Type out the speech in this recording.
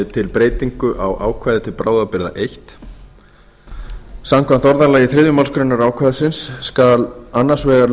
til breytingu á ákvæði til bráðabirgða fyrsta samkvæmt orðalagi þriðju málsgrein ákvæðis skal annars vegar